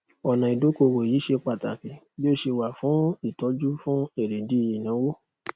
ọnà ìdókòwò yìí ṣé pàtàkì bí ó ṣe wà fún ìtọjú fún èrèdí ìnáwó